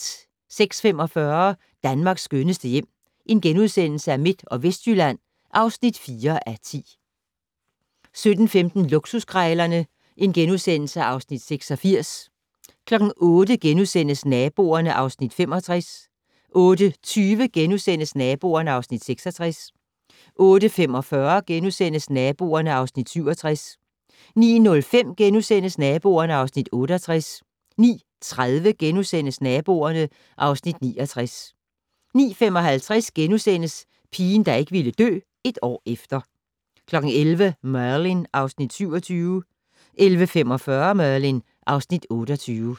06:45: Danmarks skønneste hjem - Midt- og Vestjylland (4:10)* 07:15: Luksuskrejlerne (Afs. 86)* 08:00: Naboerne (Afs. 65)* 08:20: Naboerne (Afs. 66)* 08:45: Naboerne (Afs. 67)* 09:05: Naboerne (Afs. 68)* 09:30: Naboerne (Afs. 69)* 09:55: Pigen der ikke ville dø - et år efter * 11:00: Merlin (Afs. 27) 11:45: Merlin (Afs. 28)